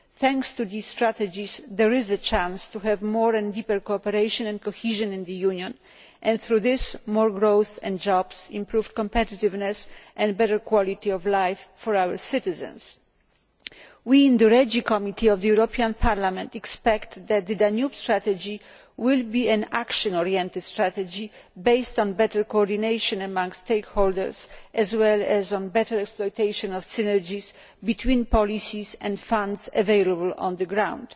Thanks to these strategies, there is a chance to have more and deeper cooperation and cohesion in the Union and, through this, more growth and jobs, improved competitiveness and better quality of life for our citizens. We in the REGI Committee of the European Parliament expect that the Danube Strategy will be an action oriented strategy based on better coordination amongst stakeholders, as well as on better exploitation of synergies between policies and funds available on the ground.